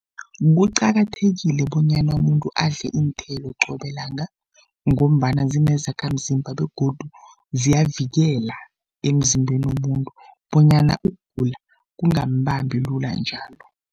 Kuqakathekile bonyana umuntu adle iinthelo qobe langa, ngombana zinezakhamzimba begodu ziyavikela emzimbeni womuntu bonyana ukugula kungambambi lula njalo.